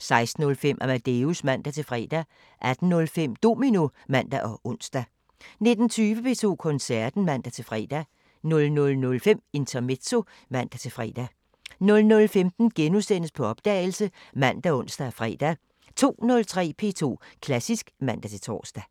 16:05: Amadeus (man-fre) 18:05: Domino (man og ons) 19:20: P2 Koncerten (man-fre) 00:05: Intermezzo (man-fre) 00:15: På opdagelse *( man, ons, fre) 02:03: P2 Klassisk (man-tor)